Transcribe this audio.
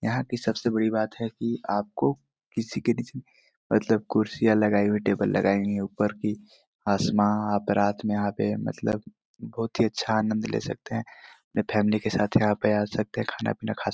यहाँ की सबके बड़ी बात है आपकों किसी के नीचे मतलब कुर्सियाँ लगाई हुई है टेबल लगाए हुए है ऊपर की आसमा आप रात में आगए मतलब बहुत ही अच्छा आनंद ले सकते है अपनी फैमिली के साथ यहाँ पे आ सकते है खाना पीना खा सक--